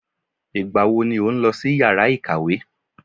Ìgbà wo ni òun lọ sí yàrá ìkàwé?